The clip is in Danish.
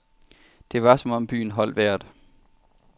Det var som om byen holdt vejret.